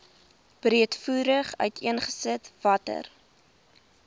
breedvoerig uiteengesit watter